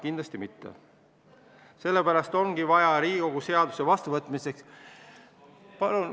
Kindlasti mitte, sellepärast ongi Riigikogul vaja seaduse vastuvõtmiseks ...